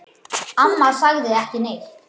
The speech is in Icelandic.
Amma sagði ekki neitt.